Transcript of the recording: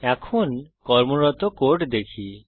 এখন কর্মরত কোড দেখি